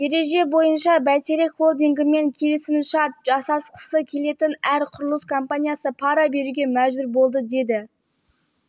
бишімбаев монтаж компаниясының негізін қалаушыдан тағы миллион алды бұл қызылордадағы шыны зауытын салған компания бұл жағдайда